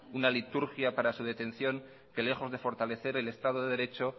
una liturgia para su detención que lejos de fortalecer el estado de derecho